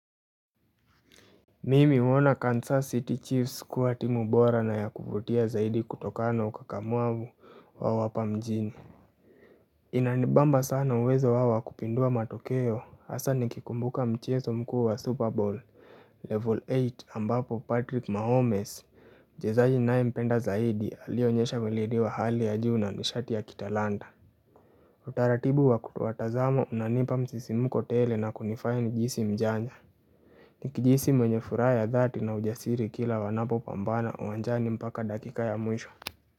Mimi huona Kansas City Chiefs kuwa timu bora na ya kuvutia zaidi kutokana na ukakamavu wao hapa mjini. Inanibamba sana uwezo wao wa kupindua matokeo hasa nikikumbuka mchezo mkuu wa super bowl Level eight ambapo Patrick Mahomes mchezaji ninayempenda zaidi alionyesha weledi wa hali ya juu na nishati ya kitalanta. Utaratibu wa kutowatazama unanipa msisimuko tele na kunifanya nijihisi mjanja Nikijihisi mwenye furaha ya dhati na ujasiri kila wanapopambana uwanjani mpaka dakika ya mwisho.